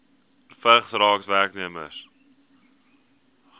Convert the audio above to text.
vigs raak werknemers